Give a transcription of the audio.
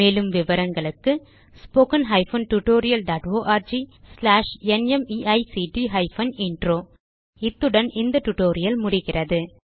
மேலும் விவரங்களுக்கு 1 இத்துடன் இந்த டியூட்டோரியல் முடிகிறது